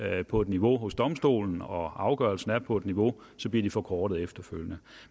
er på et niveau hos domstolene og afgørelsen er på et niveau bliver de forkortet efterfølgende